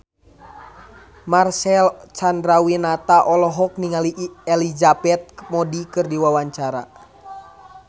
Marcel Chandrawinata olohok ningali Elizabeth Moody keur diwawancara